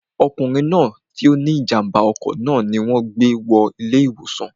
ọkùnrin tí ó ní ìjàmbá ọkọ̀ náà ni wọn gbé wọ ilé ìwòsàn